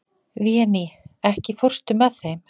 Véný, ekki fórstu með þeim?